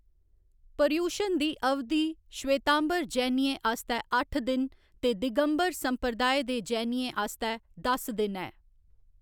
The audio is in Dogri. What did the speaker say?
पर्यूशण दी अवधि श्वेतांबर जैनियें आस्तै अट्ठ दिन ते दिगंबर संप्रदाय दे जैनियें आस्तै दस दिन ऐ।